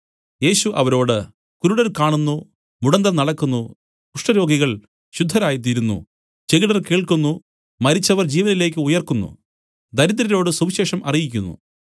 യേശു അവരോട് കുരുടർ കാണുന്നു മുടന്തർ നടക്കുന്നു കുഷ്ഠരോഗികൾ ശുദ്ധരായ് തീരുന്നു ചെകിടർ കേൾക്കുന്നു മരിച്ചവർ ജീവനിലേക്ക് ഉയിർക്കുന്നു ദരിദ്രരോട് സുവിശേഷം അറിയിക്കുന്നു